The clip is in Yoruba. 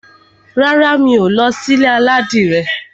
Rárá, mi ò ní lọ sí ilé aládìrẹ.